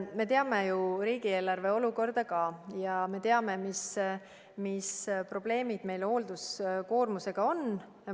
Me teame ju riigieelarve olukorda ja me teame, mis probleemid meil hoolduskoormusega on.